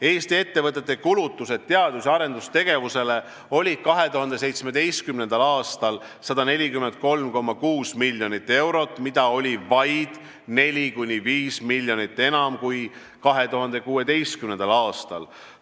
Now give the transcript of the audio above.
Eesti ettevõtete kulutused teadus- ja arendustegevusele olid 2017. aastal 143,6 miljonit eurot, see oli vaid 4–5 miljonit enam kui 2016. aastal.